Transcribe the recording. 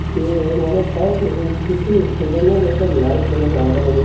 কি হয় মানে তাত এই যিটো student ৰ এটা life কেনেকুৱা হʼব লাগে